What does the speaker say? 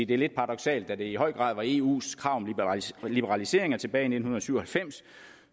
det er lidt paradoksalt at det i høj grad var eus krav om liberalisering tilbage i nitten syv og halvfems